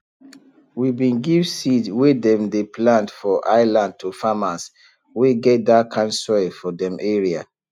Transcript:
we bin give seed wey dem dey plant for highland to farmers wey get that kind soil for dem area